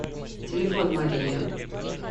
телефон мария